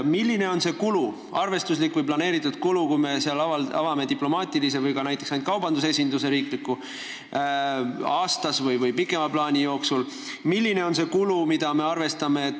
Milline on see kulu, arvestuslik ja planeeritud kulu, kui me avame seal diplomaatilise või ka näiteks ainult kaubandusesinduse aasta või pikema aja jooksul?